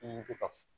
I bɛ ka